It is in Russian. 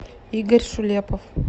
игорь шулепов